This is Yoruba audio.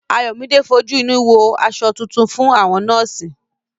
Ayọ̀míde fojú inú wo ọ̀nà aṣọ tuntun fún àwọn nọ́ọ̀sì